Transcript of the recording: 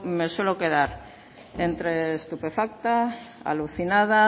me suelo quedar entre estupefacta alucinada